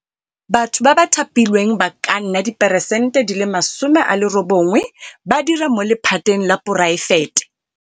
Batho ba ba thapilweng ba ka nna 80peresente ba dira mo lephateng la poraefete.